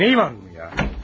Nəyi varmış ya?